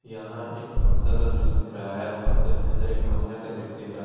यहां एक फंक्शन का दृश्य दिख रहा है फंक्शन के अंदर एक महिला का दृश्य दिख रहा--